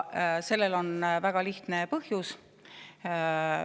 Sellel on väga lihtne põhjus.